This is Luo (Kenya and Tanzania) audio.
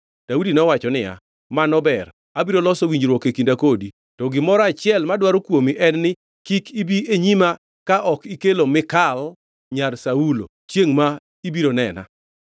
Daudi nowacho niya, “Mano ber. Abiro loso winjruok e kinda kodi. To gimoro achiel madwaro kuomi en; kik ibi e nyima ka ok ikelo Mikal nyar Saulo chiengʼ ma ibiro nena.”